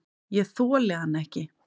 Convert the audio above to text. Ég þoli hann ekki.